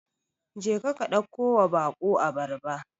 Jeka ka ɗakkowa baƙo abarba.